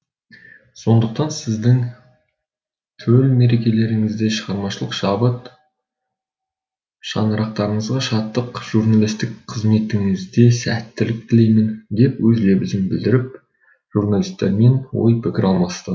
сондықтан сіздердің төл мерекелеріңізде шығармашылық шабыт шаңырақтарыңызға шаттық журналистік қызметтеріңізде сәттілік тілеймін деп өз лебізін білдіріп журналистермен ой пікір алмасты